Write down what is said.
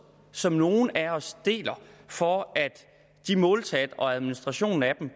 som nogle af os deler for at måltallene på og administrationen af dem